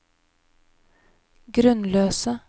grunnløse